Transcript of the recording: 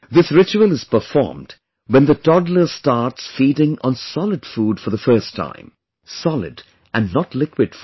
This ritual is performed when the toddler starts feeding on solid food for the first time; solid and not liquid food